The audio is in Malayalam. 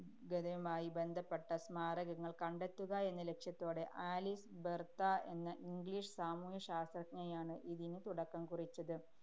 തയുമായി ബന്ധപ്പെട്ട സ്മാരകങ്ങള്‍ കണ്ടെത്തുക എന്ന ലക്ഷ്യത്തോടെ ആലീസ് ബെര്‍ത്ത എന്ന english സാമൂഹ്യശാസ്ത്രജ്ഞയാണ് ഇതിന് തുടക്കം കുറിച്ചത്.